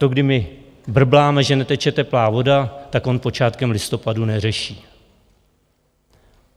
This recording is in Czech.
To, kdy my brbláme, že neteče teplá voda, tak on počátkem listopadu neřeší.